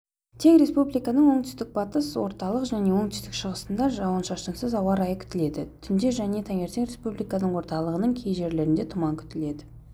тек республиканың оңтүстік-батыс орталық және оңтүстік-шығыстында жауын-шашынсыз ауа райы күтіледі түнде және таңертең республиканың орталығының кей жерлерінде тұман күтіледі